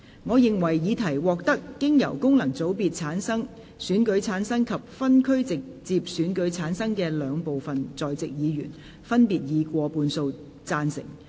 我認為議題獲得經由功能團體選舉產生及分區直接選舉產生的兩部分在席議員，分別以過半數贊成。